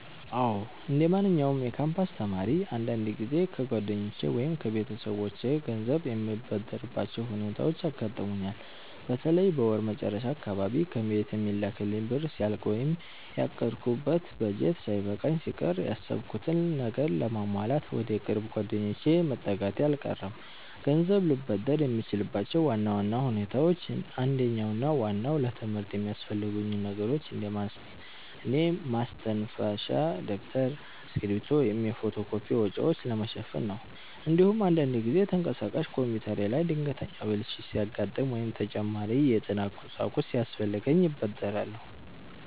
አዎ፣ እንደማንኛውም የካምፓስ ተማሪ አንዳንድ ጊዜ ከጓደኞቼ ወይም ከቤተሰቦቼ ገንዘብ የምበደርባቸው ሁኔታዎች ያጋጥሙኛል። በተለይ በወር መጨረሻ አካባቢ ከቤት የሚላክልኝ ብር ሲያልቅ ወይም ያቀድኩት በጀት ሳይበቃኝ ሲቀር፣ ያሰብኩትን ነገር ለማሟላት ወደ ቅርብ ጓደኞቼ መጠጋቴ አልቀረም። ገንዘብ ልበደር የምችልባቸው ዋና ዋና ሁኔታዎች አንደኛውና ዋናው ለትምህርት የሚያስፈልጉኝን ነገሮች እንደ ማስተንፈሻ ደብተር፣ እስክሪብቶ ወይም የፎቶ ኮፒ ወጪዎችን ለመሸፈን ነው። እንዲሁም አንዳንድ ጊዜ ተንቀሳቃሽ ኮምፒውተሬ ላይ ድንገተኛ ብልሽት ሲያጋጥም ወይም ተጨማሪ የጥናት ቁሳቁስ ሲያስፈልገኝ እበደራለሁ።